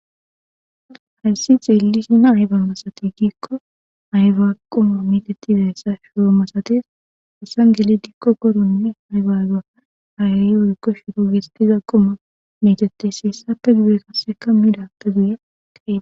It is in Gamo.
hayssi xeelli sina ayba masati giikko ayba quma metetidayssa shoo masates hessan geli dikko koronne aybaga hayayi oykko shiro gestiza quma metetes siyssappe gude kasseka midappe guye akqa